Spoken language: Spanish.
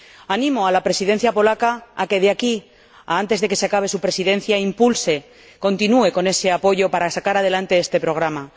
Animo a la Presidencia polaca a que, de aquí a antes de que acabe su Presidencia, continúe con ese apoyo para sacar adelante este programa.